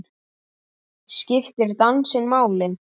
Skiptir dansinn máli?